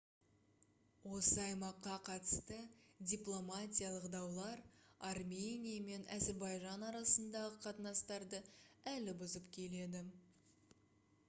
осы аймаққа қатысты дипломатиялық даулар армения мен әзірбайжан арасындағы қатынастарды әлі бұзып келеді